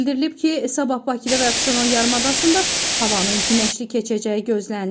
Bildirilib ki, sabah Bakıda və Abşeron yarımadasında havanın günəşli keçəcəyi gözlənilir.